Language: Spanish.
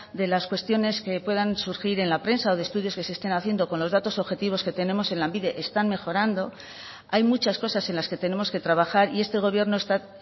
de las cuestiones que puedan surgir en la prensa o de estudios que se estén haciendo con los datos objetivos que tenemos en lanbide están mejorando hay muchas cosas en las que tenemos que trabajar y este gobierno está